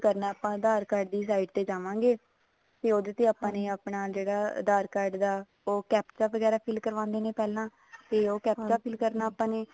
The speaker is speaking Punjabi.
ਕਰਨਾ ਆਪਾਂ ਆਧਾਰ card ਦੀ site ਤੇ ਜਾਵਾਂਗੇ ਤੇ ਉਹਦੇ ਤੇ ਆਪਾਂ ਨੇ ਆਪਣਾ ਜਿਹੜਾ ਆਧਾਰ card ਦਾ captcha ਵਗੈਰਾ fill ਕਰਵਾਉਂਦੇ ਨੇ ਪਹਿਲਾਂ ਫ਼ੇਰ ਉਹ captcha fill ਕਰਨਾ ਆਪਾਂ ਨੇ